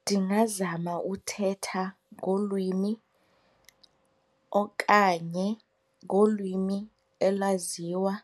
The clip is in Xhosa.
Ndingazama uthetha ngolwimi okanye ngolwimi elaziwa